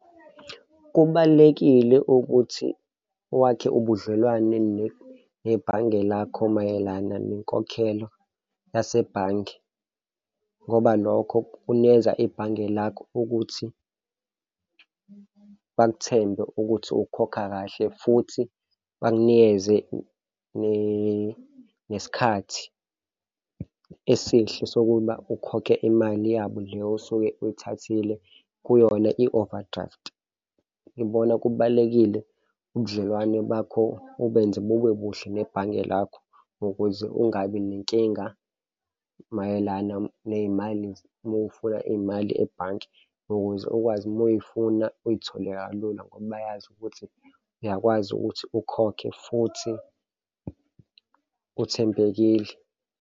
Kubalulekile ukuthi wakhe ubudlelwane nebhange lakho mayelana nenkokhelo yasebhange ngoba lokho kunikeza ibhange lakho ukuthi balithembe ukuthi ukhokha kahle, futhi bakunikeze nesikhathi esihle sokuba ukhokhe imali yabo le osuke oyithathile kuyona i-overdraft. Ngibona kubalulekile ubudlelwane bakho ubenze bube buhle nebhange lakho, ukuze ungabi nenkinga mayelana ney'mali uma ufuna iy'mali ebhanke ukuze ukwazi uma uy'funa uy'thole kalula ngoba bayazi ukuthi uyakwazi ukuthi ukhokhe futhi uthembekile.